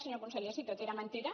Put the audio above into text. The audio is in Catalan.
senyor conseller si tot era mentida